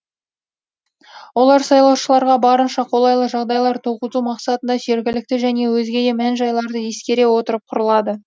олар сайлаушыларға барынша қолайлы жағдайлар туғызу мақсатында жергілікті және өзге де мән жайларды ескере отырып құрылады